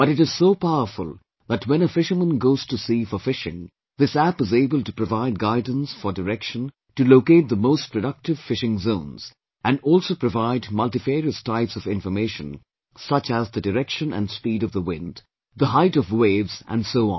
But it is so powerful that when a fisherman goes to sea for fishing, this App is able to provide guidance for direction to locate the most productive fishing zones and also provide multifarious types of information such as the direction and speed of the wind, the height of waves and so on